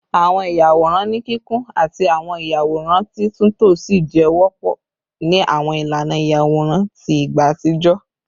Awọn iyaworan ni kikun ati awọn iyaworan titunto si jẹ wọpọ ni awọn ilana iyaworan ti igba atijọ